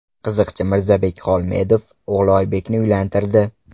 Qiziqchi Mirzabek Xolmedov o‘g‘li Oybekni uylantirdi .